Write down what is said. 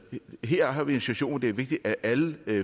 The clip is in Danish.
her har vi en situation hvor det er vigtigt at alle